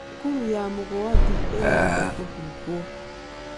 Thukuru ya Mugwandi ĩrenda kũhingwo.